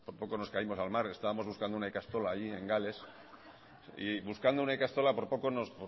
poco nos caímos al mar estábamos buscando una ikastola allí en gales y buscando una ikastola por poco nos